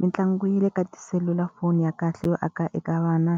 Mitlangu ya le ka tiselulafoni ya kahle yo aka eka vana,